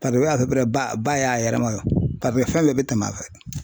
ba ba y'a yɛrɛ ma paseke fɛn bɛɛ bɛ tɛmɛ a fɛ .